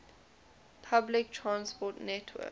public transport network